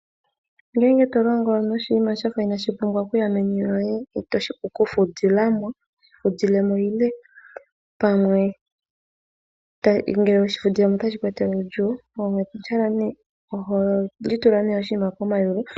Ngele tolongo noshinima shafa itaashi vulu okuya meni lyoye, ano itoo vulu okushi fudhilamo, toshi fudhilemo nenge ngele oweshi fudhilemo otashi ku etele uudhigu, oho zala ne oshinima komayulu.